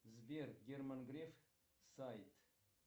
сбер герман греф сайт